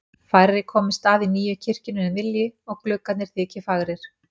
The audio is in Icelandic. Færri komist að í nýju kirkjunni en vilji og gluggarnir þyki fagrir.